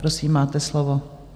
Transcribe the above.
Prosím, máte slovo.